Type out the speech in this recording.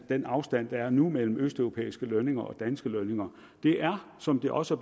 den afstand der er nu mellem østeuropæiske lønninger og danske lønninger det er som det også